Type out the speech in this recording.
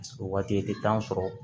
O waati i tɛ sɔrɔ